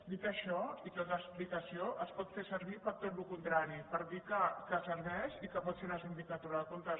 dit això i tota l’explicació es pot fer servir per a tot el contrari per dir que serveix i que pot fer la sindicatura de comptes